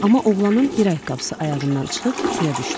Amma oğlanın bir ayaqqabısı ayağından çıxıb suya düşdü.